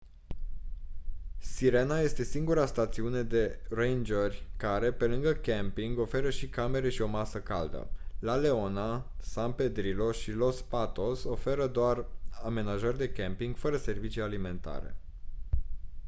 sirena este singura stațiune de rangeri care pe lângă camping oferă și camere și o masă caldă la leona san pedrillo și los patos oferă doar amenajări de camping fără servicii alimentare